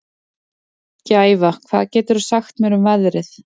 Gæfa, hvað geturðu sagt mér um veðrið?